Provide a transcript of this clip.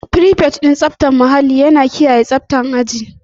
Frifet na tsaftar muhalli yana kiyaye tsaftar aji da banɗaki.